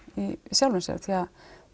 í sjálfu sér því